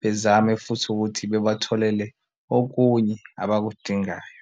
bezame futhi ukuthi bebatholele okunye abakudingayo.